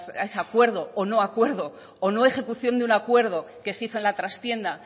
a ese acuerdo o no acuerdo o no ejecución de un acuerdo que se hizo en la trastienda